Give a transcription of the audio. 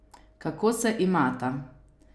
Kako se imata?